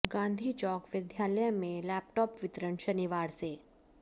गांधी चौक विद्यालय में लेपटाॅप वितरण शनिवार से